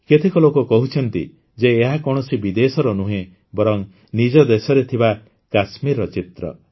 କେତେକ ଲୋକ କହୁଛନ୍ତି ଯେ ଏହା କୌଣସି ବିଦେଶର ନୁହେଁ ବରଂ ନିଜ ଦେଶରେ ଥିବା କାଶ୍ମୀରର ଚିତ୍ର